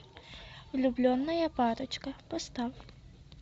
влюбленная парочка поставь